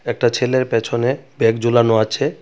একটা ছেলের পেছনে ব্যাগ ঝুলানো আছে .